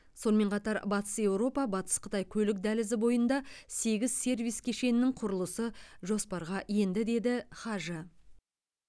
сонымен қатар батыс еуропа батыс қытай көлік дәлізі бойында сегіз сервис кешенінің құрылысы жоспарға енді деді хажы